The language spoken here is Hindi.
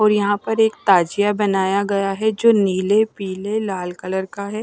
और यहां पर एक ताजिया बनाया गया है जो नीले पीले लाल कलर का है।